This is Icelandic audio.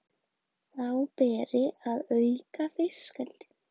Þá beri að auka fiskeldi